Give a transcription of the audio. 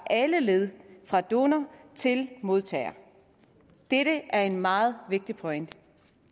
alle led fra donor til modtager dette er en meget vigtig pointe